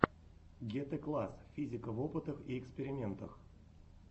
гетэкласс физика в опытах и экспериментах